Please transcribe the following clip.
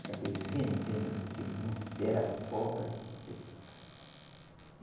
Acabei vendendo porque não. Era cobra seca.